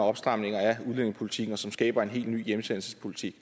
opstramninger af udlændingepolitikken og som skaber en helt ny hjemsendelsespolitik